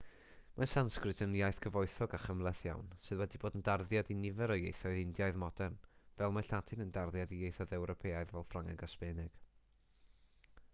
mae sansgrit yn iaith gyfoethog a chymhleth iawn sydd wedi bod yn darddiad i nifer o ieithoedd indiaidd modern fel mae lladin yn darddiad i ieithoedd ewropeaidd fel ffrangeg a sbaeneg